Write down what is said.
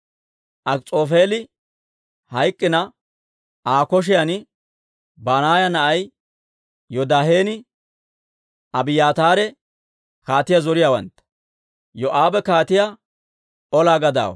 Akis'oofeeli hayk'k'ina, Aa koshiyan Banaaya na'ay Yoodaahenne Abiyaataare kaatiyaa zoriyaawantta; Yoo'aabe kaatiyaa ola gadaawaa.